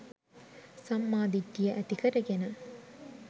සම්මා දිට්ඨිය ඇති කරගෙන